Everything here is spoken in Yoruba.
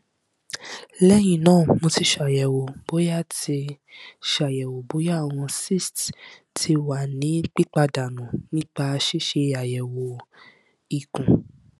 lẹhinna mo ti ṣayẹwo boya ti ṣayẹwo boya awọn cyste ti wa ni pipadanu nipa ṣiṣe ayẹwo ikun